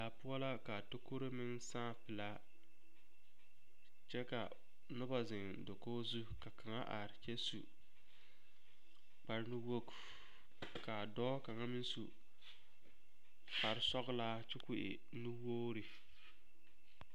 Daa poɔ la ka a tokori meŋ sãã velaa kyɛ ka noba zeŋ dakogi zu ka kaŋ are kyɛ su kpare nu-wogi, k'a dɔɔ kaŋa meŋ su kpare sɔgelaa kyɛ k'o e nu-wogiri.